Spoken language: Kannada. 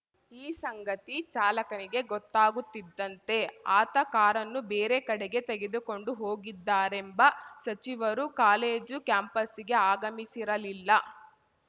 ಈ ಸಂಗತಿ ಚಾಲಕನಿಗೆ ಗೊತ್ತಾಗುತ್ತಿದ್ದಂತೆ ಆತ ಕಾರನ್ನು ಬೇರೆ ಕಡೆಗೆ ತೆಗೆದುಕೊಂಡು ಹೋಗಿದ್ದಾರೆಂಬ ಸಚಿವರು ಕಾಲೇಜು ಕ್ಯಾಂಪಸ್ಸಿಗೆ ಆಗಮಿಸಿರಲಿಲ್ಲ